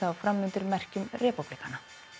fram undir merkjum repúblikana